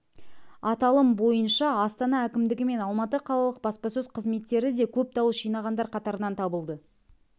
аталым бойынша астана әкімдігі мен алматы қалалық баспасөз қызметтері де көп дауыс жинағандар қатарынан табылды